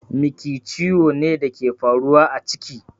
Miki ciwo ne da ke faruwa a ciki